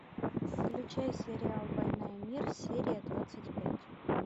включай сериал война и мир серия двадцать пять